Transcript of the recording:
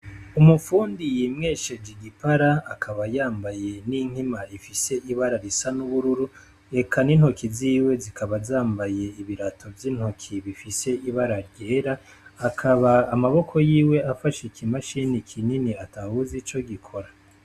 Umufundi yimwesheje igipara akaba yambaye n' inkema ifise ibara risa n' ubururu, eka n' intoke ziwe zikaba zambaye ibirato vy'intoke bifise ibara ryera, akaba amaboko yiwe afashe iki mashine kinini atawuzi ico gikora.